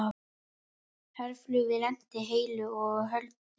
Herflugvél lenti heilu og höldnu